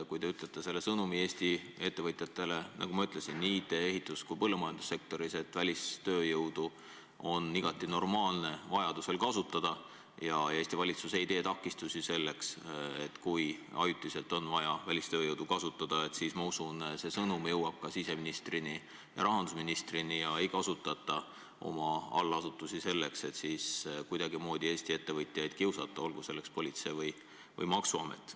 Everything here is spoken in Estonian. Kui te ütlete Eesti ettevõtjatele nii IT-, ehitus- kui ka põllumajandussektoris, et välistööjõudu on igati normaalne kasutada ja Eesti valitsus ei tee takistusi, kui ajutiselt on vaja välistööjõudu kasutada, siis ma usun, et see sõnum jõuab ka siseministrini ja rahandusministrini ja nad ei kasutata oma allasutusi selleks, et kuidagimoodi Eesti ettevõtjaid kiusata, olgu selleks kiusajaks politsei või maksuamet.